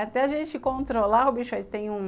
Até a gente controlar o bicho aí, tem um...